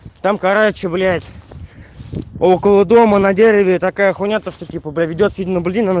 там короче блять около дома на дереве такая х то что типа приведёт сильно